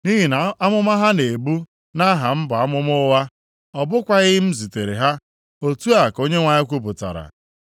Nʼihi na amụma ha na-ebu nʼaha m bụ amụma ụgha. Ọ bụkwaghị m zitere ha.” Otu a ka Onyenwe anyị kwupụtara.